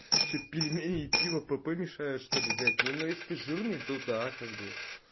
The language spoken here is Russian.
что пельмени и пиво пп мешают что ли блять не ну если ты жирный то да как бы